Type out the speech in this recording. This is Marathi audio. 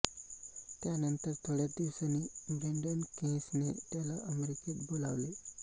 त्यानंतर थोड्याच दिवसांनी ब्रेन्डन केयेसने त्याला अमेरिकेत बोलावले